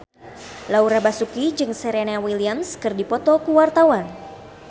Laura Basuki jeung Serena Williams keur dipoto ku wartawan